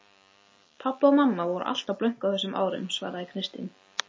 Pabbi og mamma voru alltaf blönk á þessum árum svaraði Kristín.